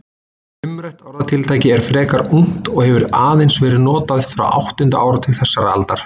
Umrætt orðatiltæki er frekar ungt og hefur aðeins verið notað frá áttunda áratug þessarar aldar.